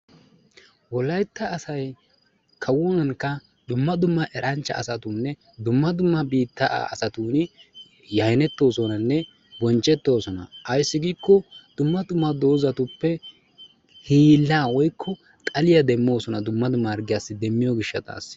Wolaytta asay kawunkka, dumma dumma eranchcha asatuuni, dumma dumma biittaa asatunkka yaynettoosonanne bonchchettoosona. Ayssi giikko dumma dumma doozatuppe hiillaa woykko xaliya demmoosona. Dumma dumma harggiyassi demmiyo gishshataassi.